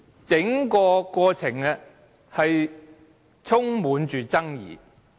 整個過程充滿爭議。